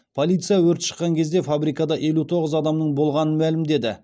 полиция өрт шыққан кезде фабрикада елу тоғыз адамның болғанын мәлімдеді